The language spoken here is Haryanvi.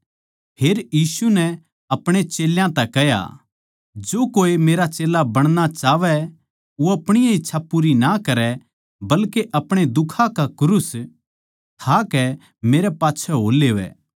फेर यीशु नै अपणे चेल्यां तै कह्या जो कोई मेरै मेरा चेल्ला बणना चाहवै वो अपणी ए इच्छा पूरी ना करै बल्के अपणे दुखां का क्रूस ठाकै मेरै पाच्छै हो लेवै